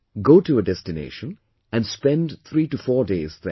Go to a destination and spend three to four days there